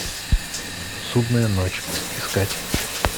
судная ночь искать